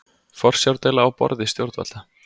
Forsjárdeila á borði stjórnvalda